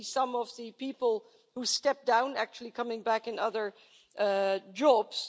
We see some of the people who stepped down actually coming back in other jobs.